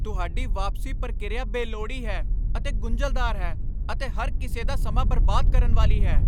ਤੁਹਾਡੀ ਵਾਪਸੀ ਪ੍ਰਕਿਰਿਆ ਬੇਲੋੜੀ ਹੈ ਅਤੇ ਗੁੰਝਲਦਾਰ ਹੈ ਅਤੇ ਹਰ ਕਿਸੇ ਦਾ ਸਮਾਂ ਬਰਬਾਦ ਕਰਨ ਵਾਲੀ ਹੈ।